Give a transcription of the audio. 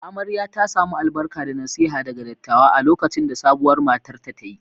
Amarya ta samu albarka da nasiha daga dattawa a lokacin da sabuwar matar ta ta yi.